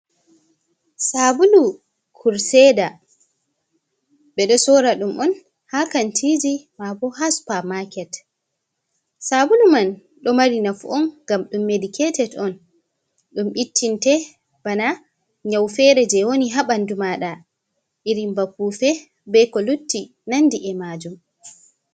Sabulu kurseda, ɓe ɗo sora ɗum'on ha kantiji mabo ha Supa maket, Sabulu man ɗo mari nafu on ngam ɗum mediketed'on ɗum ittinte bana nyau fere je woni ha ɓandu maɗa, irin ba pufe be ko lutti nandi e majum.